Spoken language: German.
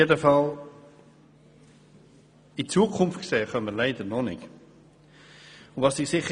Jedenfalls können wir noch nicht in die Zukunft sehen.